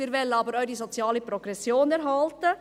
Wir wollen aber auch die soziale Progression erhalten.